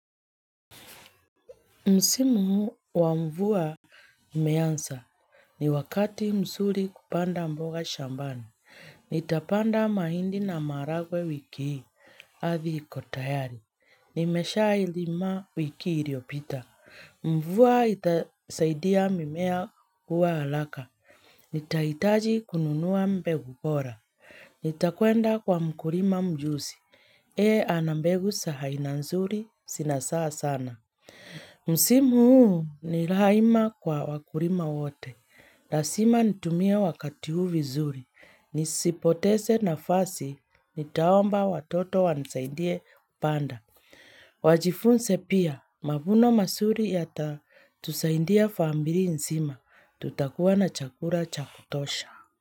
Msimu wa mvua imeanza. Ni wakati mzuri kupanda mboga shambani. Nitapanda mahindi na maharagwe wiki hii. Ardhi iko tayari. Nimesha ilima wiki iliopita. Mvua itasaidia mimea kuwa haraka. Nitaihitaji kununua mbegu bora. Nitakwenda kwa mkulima mjuzi. Yeye ana mbegu za aina nzuri zinazaa sana. Msimu huu ni rahima kwa wakulima wote lazima nitumie wakati huu vizuri nisipoteze nafasi nitaomba watoto wanisaidie kupanda Wajifunze pia mavuno mazuri yatatusaidia familia nzima Tutakuwa na chakula cha kutosha.